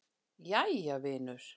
Jæja, vinur.